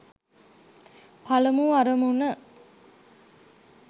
පළමු අරමුණ.